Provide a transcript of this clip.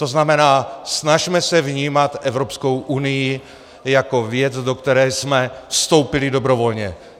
To znamená, snažme se vnímat Evropskou unii jako věc, do které jsme vstoupili dobrovolně.